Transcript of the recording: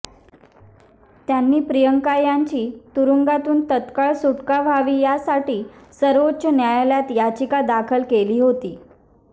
त्यांनी प्रियंका यांची तुरुंगातून तत्काळ सुटका व्हावी यासाठी सर्वोच्च न्यायालयात याचिका दाखल केली होती